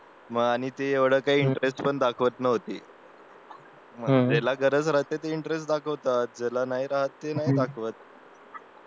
मग आणि ती एवढं काही इंटरेस्ट दाखवत नव्हती मग ज्याला गरज असते इंटरेस्ट दाखवते ज्यालानाही राहत ते नाही दाखवा